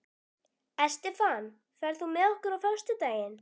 Estefan, ferð þú með okkur á föstudaginn?